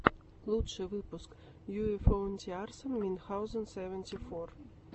лучший выпуск юэфоуниарсан минхаузен сэванти фор